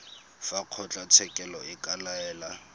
fa kgotlatshekelo e ka laela